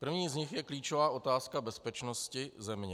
První z nich je klíčová otázka bezpečnosti země.